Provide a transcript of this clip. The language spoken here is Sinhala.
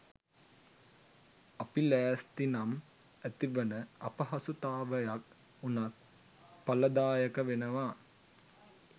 අපි ලෑස්තිනම් ඇතිවන අපහසුතාවයක් වුණත් ඵලදායක වෙනවා